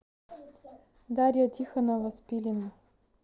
дарья тихонова спилина